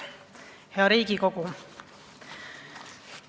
Hea Riigikogu!